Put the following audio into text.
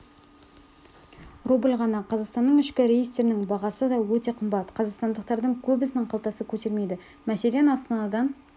рубль ғана қазақстанның ішкі рейстерінің бағасы да өте қымбат қазақстандықтардың көбісінің қалтасы көтермейді мәселен астанадан